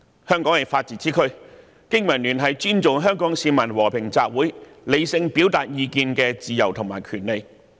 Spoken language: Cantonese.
香港是法治之區，經民聯尊重香港市民和平集會、理性表達意見的自由和權利。